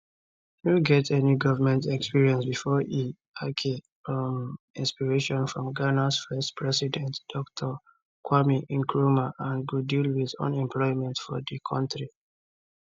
no get any goment experience bifor e ake um inspiration from ghanas first president dr kwame nkrumah and go deal wit unemployment for di kontri